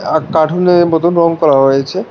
আ কার্টুনের মতন রং করা হয়েছে।